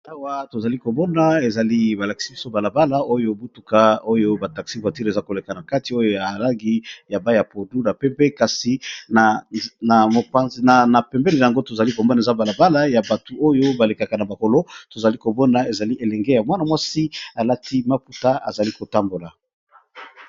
alawa tozali kobona ezali balakisi biso balabala oyo butuka oyo bataxi vatire eza koleka na kati oyo ya alagi ya baya podu na pempe kasi na pembene yango tozali kobona eza balabala ya batu oyo balekaka na bakolo tozali kobona ezali elenge ya mwana mwasi alati maputa azali kotambola